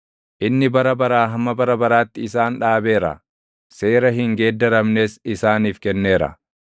Inni bara baraa hamma bara baraatti isaan dhaabeera; seera hin geeddaramnes isaaniif kenneera.